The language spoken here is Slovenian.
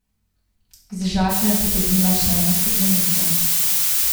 Iz žaklja je potegnila še eno steklenico.